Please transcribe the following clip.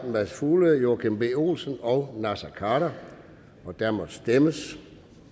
mads fuglede joachim b olsen og naser khader og der må stemmes